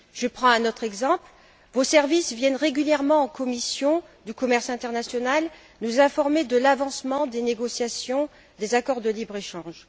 Je prends un autre exemple vos services viennent régulièrement à la commission du commerce international nous informer de l'avancement des négociations des accords de libre échange.